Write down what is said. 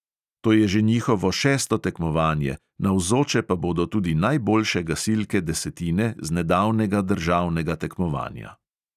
To je že njihovo šesto tekmovanje, navzoče pa bodo tudi najboljše gasilke desetine z nedavnega državnega tekmovanja.